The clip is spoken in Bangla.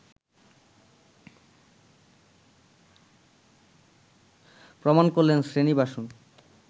প্রমাণ করলেন শ্রীনিবাসন